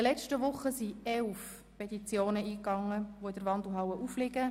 Während den letzten Wochen sind elf Petitionen eingegangen, welche in der Wandelhalle aufliegen.